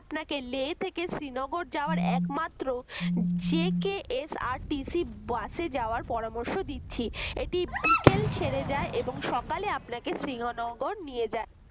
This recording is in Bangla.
আপনাকে লে থেকে শ্রীনগর যাওয়ার একমাত্র JKSRTC bus যাওয়ার পরামর্শ দিচ্ছি এটি বিকেল ছেড়ে যায় এবং সকালে আপনাকে শ্রীনগর নিয়ে যায়